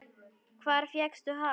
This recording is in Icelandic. Hvar fékkstu hann?